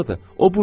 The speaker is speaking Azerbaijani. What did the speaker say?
bax o burdadır,